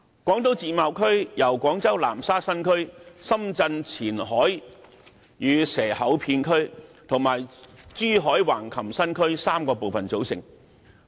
廣東自貿區由廣州南沙新區、深圳前海與蛇口片區及珠海橫琴新區3個部分組成。